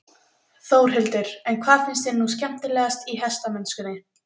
Þórhildur: En hvað finnst þér nú skemmtilegast í hestamennskunni?